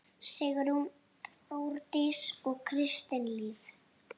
Sigrún, Þórdís og Kristín Líf.